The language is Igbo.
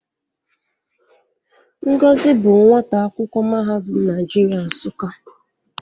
Ngozi bụ nwata akwụkwọ Mahadum Naịjirịa Nsụka.